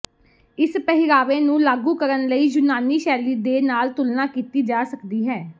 ਇਸ ਪਹਿਰਾਵੇ ਨੂੰ ਲਾਗੂ ਕਰਨ ਲਈ ਯੂਨਾਨੀ ਸ਼ੈਲੀ ਦੇ ਨਾਲ ਤੁਲਨਾ ਕੀਤੀ ਜਾ ਸਕਦੀ ਹੈ